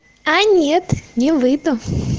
а нет не выйду